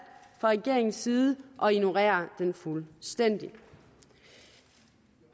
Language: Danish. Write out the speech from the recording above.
fra regeringens side at ignorere den fuldstændig